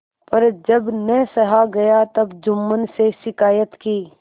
पर जब न सहा गया तब जुम्मन से शिकायत की